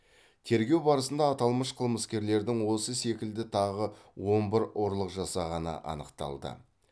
тергеу барысында аталмыш қылмыскерлердің осы секілді тағы он бір ұрлық жасағаны анықталды